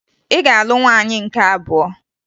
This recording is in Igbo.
Ị ga-alụ nwaanyị nke abụọ!